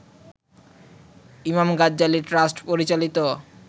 ইমাম গাজ্জালী ট্রাস্ট পরিচালিত